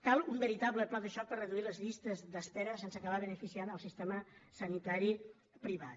cal un veritable pla de xoc per reduir les llistes d’espera sense acabar beneficiant el sistema sanitari privat